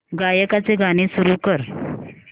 गायकाचे गाणे सुरू कर